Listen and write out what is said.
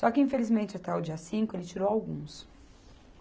Só que, infelizmente, até o dia cinco ele tirou alguns.